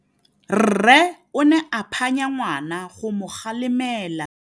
Rre o ne a phanya ngwana go mo galemela.